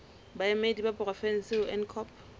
baemedi ba porofensi ho ncop